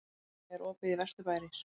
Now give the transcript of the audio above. Heida, er opið í Vesturbæjarís?